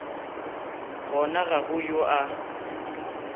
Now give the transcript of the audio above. gona ga go yo a